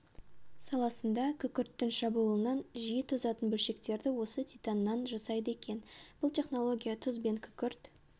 саласында күкірттің шабуылынан жиі тозатын бөлшектерді осы титаннан жасайды екен бұл технология тұз бен күкірт